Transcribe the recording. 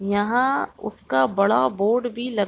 यहाँ उसका बड़ा बोर्ड भी ल--